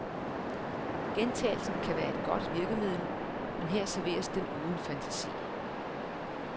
Gentagelsen kan være et godt virkemiddel, men her serveres den uden fantasi.